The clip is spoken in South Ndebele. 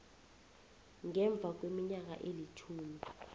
ngemva kweminyaka elitjhumi